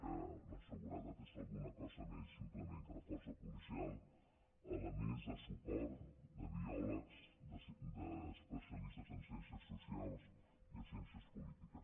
que la seguretat és una cosa més simplement que la força policial elements de suport de biòlegs d’especialis·tes en ciències socials i en ciències polítiques